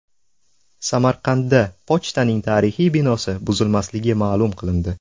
Samarqandda pochtaning tarixiy binosi buzilmasligi ma’lum qilindi.